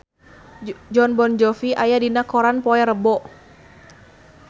Jon Bon Jovi aya dina koran poe Rebo